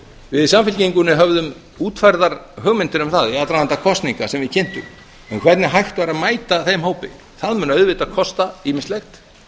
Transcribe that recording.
við í samfylkingunni höfðum útfærðar hugmyndir um það í aðdraganda kosninga sem við kynntum um hvernig hægt væri að mæta þeim hópi það mun auðvitað kosta ýmislegt